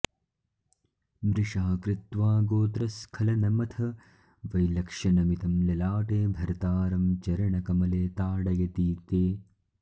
मृषा कृत्वा गोत्रस्खलनमथ वैलक्ष्यनमितं ललाटे भर्तारं चरणकमले ताडयति ते